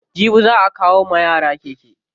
Jibi za'a kawo wa yara keke.